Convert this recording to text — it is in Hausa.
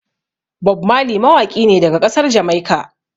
Bob Marley mawaƙi ne daga ƙasar Jamaika.